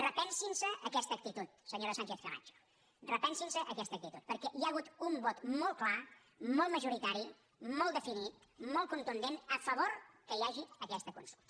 repensin se aquesta actitud senyora sánchez camacho repensin se aquesta actitud perquè hi ha hagut un vot molt clar molt majoritari molt definit molt contundent a favor que hi hagi aquesta consulta